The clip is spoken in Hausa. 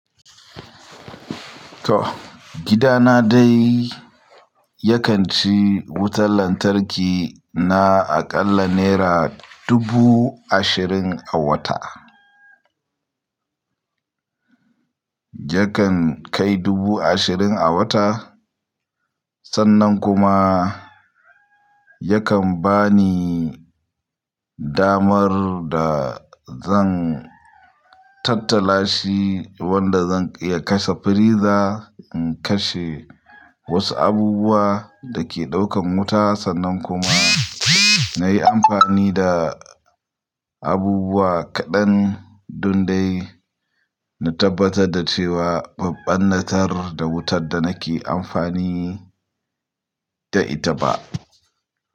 To gidana dai yakan ci wutar lantarki na akalla naira dubu ashirin a wata. Yakan kai dubu ashirin a wata, sannan kuma yakan bani damar da zan tattala shi wanda zan iya kashe firiza, in kashe wasu abubuwa da ke ɗaukan wuta sannan kuma na yi amfani da abubuwa kaɗan don dai na tabbatar da cewa ban ɓarnatar da wutar da nake amfani da ita ba.